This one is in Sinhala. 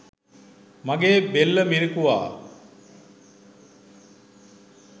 මගේ බෙල්ල මිරිකුවා.